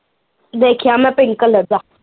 ਦੇਖਿਆ ਮੈਂ pink colour ਦਾ